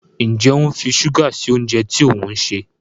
Njé o ń fí ṣuga sí oúnjẹ tí òun ṣe?